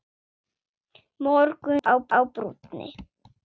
Morgunn á brúnni